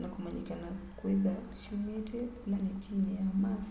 nakũmanyĩkana kwĩtha syũmite vũlanetinĩ ya mars